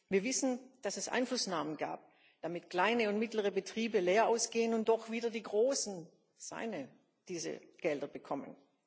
Wir wissen, dass es Einflussnahmen gab, damit kleine und mittlere Betriebe leer ausgehen und doch wieder die großen seine diese Gelder bekommen.